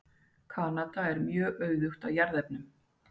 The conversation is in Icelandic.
Kanada er mjög auðugt af jarðefnum.